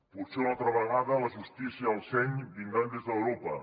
potser una altra vegada la justícia i el seny vindran des d’europa